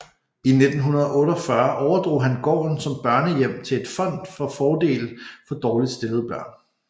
I 1948 overdrog han gården som børnehjem til et fond til fordel for dårligt stillede børn